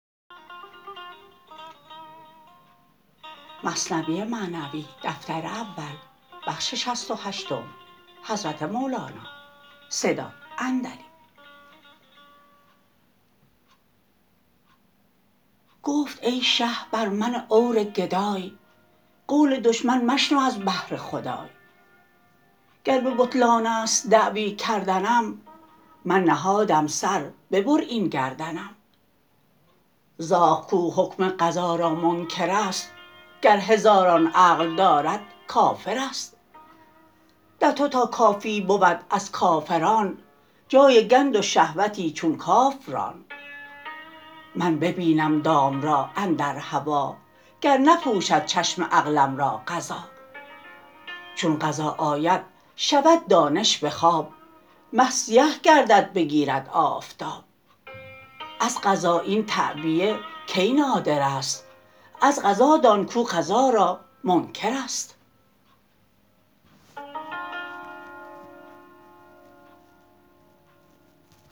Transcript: گفت ای شه بر من عور گدای قول دشمن مشنو از بهر خدای گر به بطلانست دعوی کردنم من نهادم سر ببر این گردنم زاغ کو حکم قضا را منکرست گر هزاران عقل دارد کافرست در تو تا کافی بود از کافران جای گند و شهوتی چون کاف ران من ببینم دام را اندر هوا گر نپوشد چشم عقلم را قضا چون قضا آید شود دانش بخواب مه سیه گردد بگیرد آفتاب از قضا این تعبیه کی نادرست از قضا دان کو قضا را منکرست